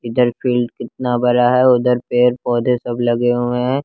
इधर फील्ड कितना बड़ा है उधर पेड़ पौधे सब लगे हुए हैं।